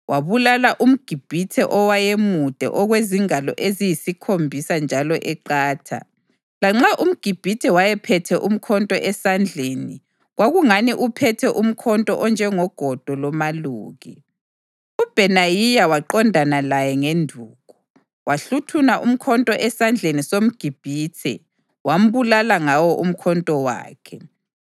Wabulala umGibhithe owayemude okwezingalo eyisikhombisa njalo eqatha. Lanxa umGibhithe wayephethe umkhonto esandleni kwakungani uphethe umkhonto onjengogodo lomaluki, uBhenayiya waqondana laye ngenduku. Wahluthuna umkhonto esandleni somGibhithe wambulala ngawo umkhonto wakhe.